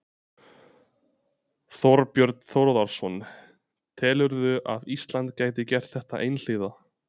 Þorbjörn Þórðarson: Telurðu að Ísland gæti gert þetta einhliða?